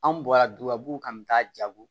Anw bɔra dubabu kan bɛ taa jago